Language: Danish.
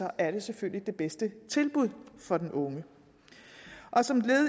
er det selvfølgelig det bedste tilbud for den unge som